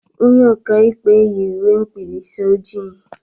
Onye ọka ikpe yị uwe mkpịrịsị ojii.